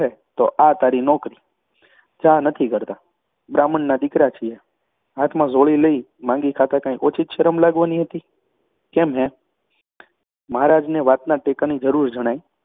બહુ કહે તો આ તારી નોકરી, જા, નથી કરતા. બ્રાહ્મણના દીકરા છીએ, હાથમાં ઝોળી માંગી માગી ખાતાં કાંઈ ઓછી શરમ લાગવાની હતી. કેમ હેં? મહારાજને વાતના ટેકાની જરૃર જણાઈ